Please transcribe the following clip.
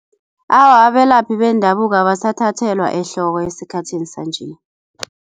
Awa abelaphi bendabuko abasathathelwa ehloko esikhathini sanje.